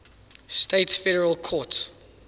states federal courts